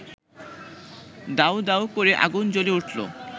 দাউদাউ করে আগুন জ্বলে উঠল